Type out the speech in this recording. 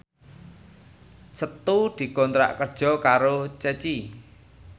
Setu dikontrak kerja karo Ceci